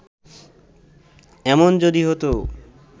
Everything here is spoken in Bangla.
এমন যদি হত